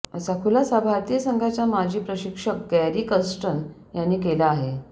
असा खुलासा भारतीय संघाचा माजी प्रशिक्षक गॅरी कर्स्टन यांनी केला आहे